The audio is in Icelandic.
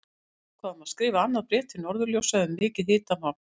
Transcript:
Við ákváðum að skrifa annað bréf til Norðurljósa um mikið hitamál!